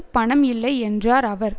பணம் இல்லை என்றார் அவர்